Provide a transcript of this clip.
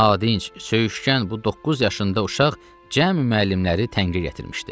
Nadinc, söyüşkən bu doqquz yaşında uşaq cəmi müəllimləri təngə gətirmişdi.